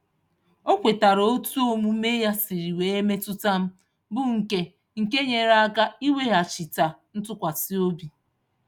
O kwetara etu omume ya siri wee metụta m, bụ nke nke nyere aka ịweghachite ntụkwasịobi.